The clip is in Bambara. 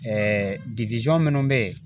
minnu bɛ yen